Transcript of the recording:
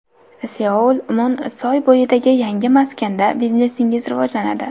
Seoul Mun soy bo‘yidagi yangi maskanda biznesingiz rivojlanadi.